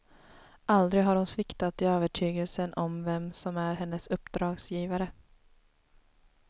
Aldrig har hon sviktat i övertygelsen om vem som är hennes uppdragsgivare.